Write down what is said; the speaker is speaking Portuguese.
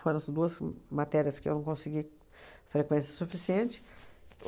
Foram as duas m matérias que eu não consegui frequência suficiente.